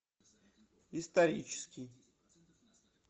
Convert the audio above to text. исторический